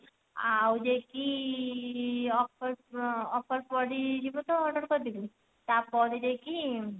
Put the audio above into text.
ଆଉ ଯାଇକି offer offer ସରିଯିବ ତ order କରିଦେବି ତା ପରେ ଯାଇକି